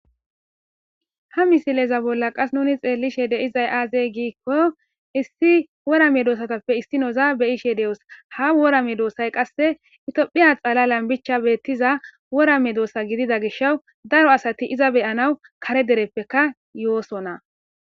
ha misileza bolla qas nuni xeellishe deizay aazey giikko issi worame doosatappe issinoza beyishe de7os ha worame doossay qasse itophiya xala lambicha beettiza worame doossa gidida gish daro asati iza beyanaw kare dereppeka yoosonna